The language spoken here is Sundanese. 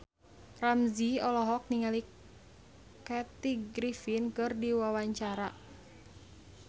Ramzy olohok ningali Kathy Griffin keur diwawancara